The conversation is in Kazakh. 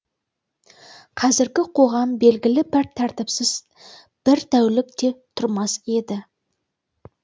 қазіргі қоғам белгілі бір тәртіпсіз бір тәулік те тұрмас еді